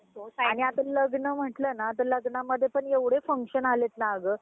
आणि आता लग्न म्हटलं ना तर लग्नांमध्ये पण एवढे function आलेत ना अगं